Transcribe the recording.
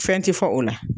Fɛn ti fɔ o la